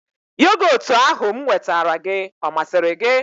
Yogotu ahụ m nwetara gị ọ masịrị gị?